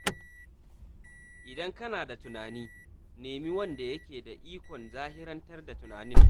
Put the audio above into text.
Idan kana da wani tunani, nemi wanda yake da ikon zahirantar da tunanin.